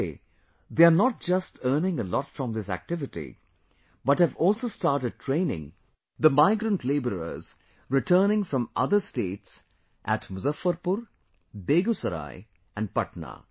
Today, they are not just earning a lot from this activity but have also started training the migrant labourers returning from other states at Muzaffarpur, Begusarai and Patna